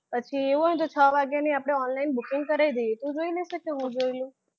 પછી એવું હોય ને તો છ વાગ્યાની આપણે online booking કરાવી દઈએ તો તું જોઈ લઈશ કે હું જોઈ લઉં?